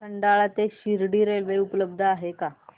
खंडाळा ते शिर्डी रेल्वे उपलब्ध आहे का